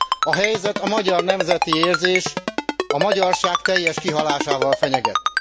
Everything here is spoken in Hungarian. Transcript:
A helyzet a magyar nemzeti érzés, a magyarság teljes kihalásával fenyeget.